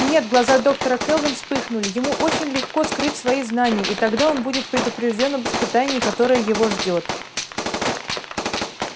нет глаза доктора кэлвин вспыхнули ему очень легко скрыть свои знания и тогда он будет предупреждён об испытании которое его ждёт